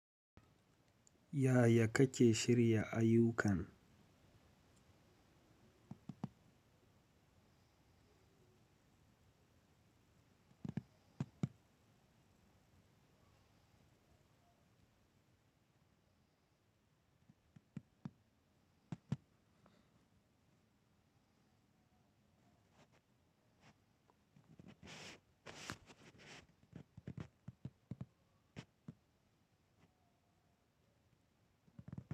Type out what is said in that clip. Yaya kake shirya ayukan?